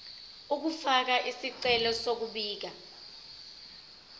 ukufaka isicelo sokubika